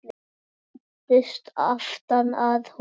Og læddist aftan að honum.